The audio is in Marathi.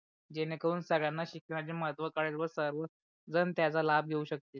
जेणे करून संगड्यांणा शिक्षणाचे महत्व कळेल व सर्वजण त्याच्या लाभ घेऊ शकते.